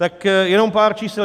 Tak jenom pár čísel.